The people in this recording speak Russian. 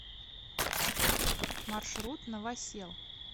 маршрут новосел